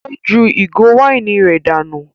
Ó ju ìgò wáìnì rẹ̀ dànù.